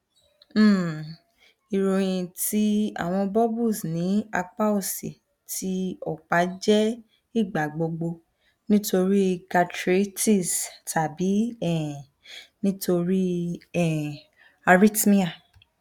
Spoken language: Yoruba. um iroyin ti awọn bubbles ni apa osi ti ọpa jẹ igbagbogbo nitori gastritis tabi um nitori um arithmia